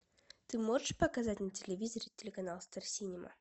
ты можешь показать на телевизоре телеканал стар синема